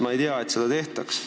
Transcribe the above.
Ma ei tea, et seda tehtaks.